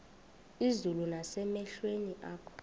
izulu nasemehlweni akho